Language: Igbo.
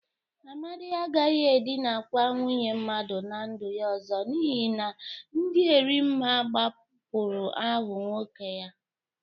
Amadị agaghị edịnakwa nwunye mmadụ na ndu ya ọzọ n'ihi na dị Erimma gbupuru ahụ nwoke ya.